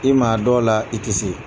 I ma a dɔw la i tɛ se.